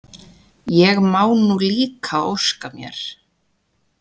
Ég má nú líka óska mér!